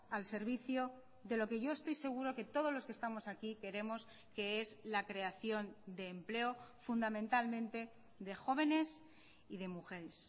al servicio de lo que yo estoy seguro que todos los que estamos aquí queremos que es la creación de empleo fundamentalmente de jóvenes y de mujeres